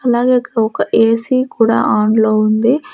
అలాగే ఇక్కడ ఒక ఏసీ కూడా ఆన్లో ఉంది.